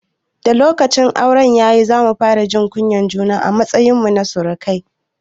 Da lokacin auren ya yi, za mu fara jin kunyar juna a matsayin mu na surukai.